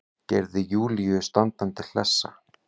Gerði Júlíu standandi hlessa.